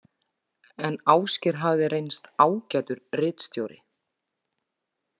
En Ásgeir hafði reynst ágætur ritstjóri.